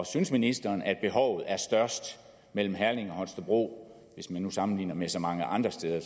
synes ministeren at behovet er størst mellem herning og holstebro hvis man nu sammenligner med så mange andre steder